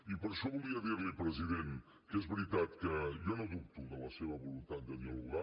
i per això volia dir li president que és veritat que jo no dubto de la seva voluntat de dialogar